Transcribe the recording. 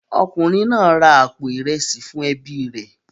Ọkùnrin náà ra àpò ìrẹsì fún ẹbí rẹ̀